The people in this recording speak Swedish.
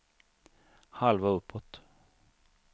halva uppåt